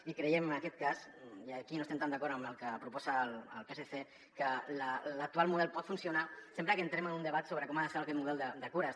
i creiem en aquest cas i aquí no estem tan d’acord amb el que proposa el psc que l’actual model pot funcionar sempre que entrem en un debat sobre com ha de ser aquest mo·del de cures